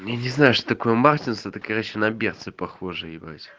я не знаю что такое мартинсы это короче на берцы похоже ебать